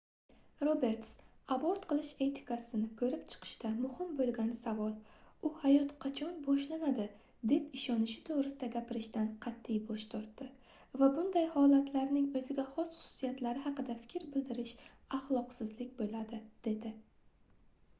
roberts abort qilish etikasini koʻrib chiqishda muhim boʻlgan savol u hayot qachon boshlanadi deb ishonishi toʻgʻrisida gapirishdan qatʼiy bosh tortdi va bunday holatlarning oʻziga xos xususiyatlari haqida fikr bildirish axloqsizlik boʻladi dedi